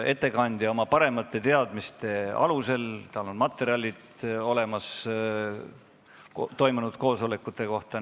Ettekandja vastab oma parimate teadmiste alusel, tal on olemas materjalid toimunud koosolekute kohta.